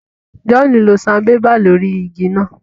John lo Sanbébà lórí ìgi náà